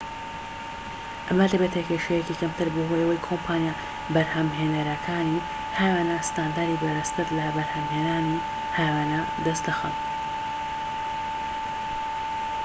ئەمە دەبێتە کێشەیەکی کەمتر بەهۆی ئەوەی کۆمپانیا بەرھەمھێنەرەکانی هاوێنە ستاندەری بەرزتر لە بەرھەمھێنانی هاوێنە دەست دەخەن